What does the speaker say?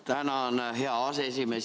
Tänan, hea aseesimees!